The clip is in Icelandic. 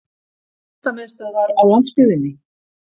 Listamiðstöðvar á landsbyggðinni!